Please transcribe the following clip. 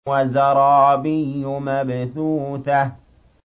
وَزَرَابِيُّ مَبْثُوثَةٌ